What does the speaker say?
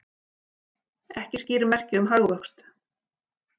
Ekki skýr merki um hagvöxt